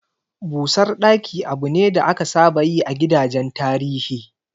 Busar ɗaki abu ne da aka saba yi a gidajen tarihi.